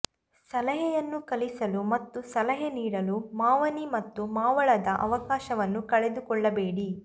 ಸಲಹೆಯನ್ನು ಕಲಿಸಲು ಮತ್ತು ಸಲಹೆ ನೀಡಲು ಮಾವನಿ ಮತ್ತು ಮಾವಳದ ಅವಕಾಶವನ್ನು ಕಳೆದುಕೊಳ್ಳಬೇಡಿ